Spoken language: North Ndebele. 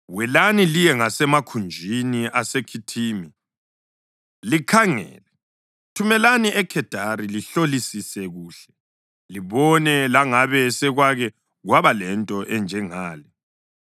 Welani liye ngasemakhunjini aseKhithimi likhangele, thumelani eKhedari lihlolisise kuhle, libone langabe sekwake kwaba lento enjengale: